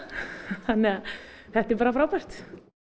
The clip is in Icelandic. þannig að þetta er bara frábært